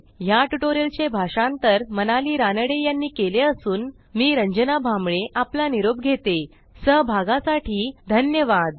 ह्या ट्युटोरियलचे भाषांतर मनाली रानडे यांनी केले असून मी रंजना भांबळे आपला निरोप घेते160सहभागासाठी धन्यवाद